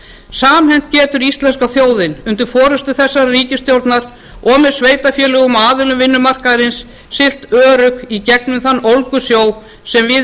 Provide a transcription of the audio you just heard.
samhent getur íslenska þjóðin undir forustu þessarar ríkisstjórnar og með sveitarfélögum og aðilum vinnumarkaðarins siglt örugg í gegnum þann ólgusjó sem við